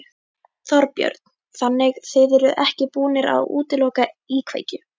Þorbjörn: Þannig þið eruð ekki búnir að útiloka íkveikju?